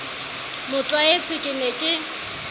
mo tlwaetse ke ne ke